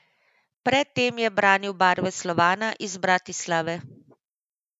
Pred tem je branil barve Slovana iz Bratislave.